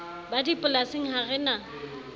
ba dipolasing ha re na